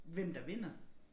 Hvem der vinder